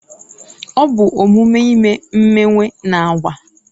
ọ bụ omume ime imewe na agba